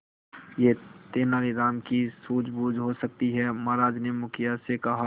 यह तेनालीराम की सूझबूझ हो सकती है महाराज ने मुखिया से कहा